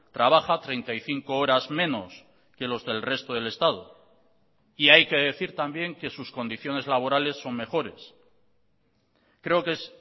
trabaja treinta y cinco horas menos que los del resto del estado y hay que decir también que sus condiciones laborales son mejores creo que es